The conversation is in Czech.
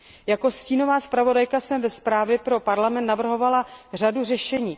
Jako stínová zpravodajka jsem ve zprávě Parlamentu navrhovala řadu řešení.